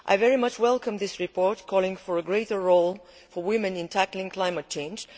I very much welcome this report calling for a greater role for women in tackling climate change.